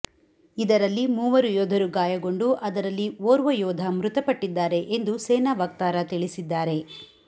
ಇದರಲ್ಲಿ ಮೂವರು ಯೋಧರು ಗಾಯಗೊಂಡು ಅದರಲ್ಲಿ ಓರ್ವ ಯೋಧ ಮೃತಪಟ್ಟಿದ್ದಾರೆ ಎಂದು ಸೇನಾ ವಕ್ತಾರ ತಿಳಿಸಿದ್ದಾರೆ